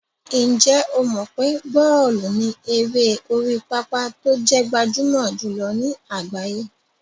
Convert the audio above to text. Ǹjẹ́ o mọ̀ pé bọ́ọ̀lù ni eré orí pápá tó jẹ́ gbajúmọ̀ jùlọ ní àgbáyé?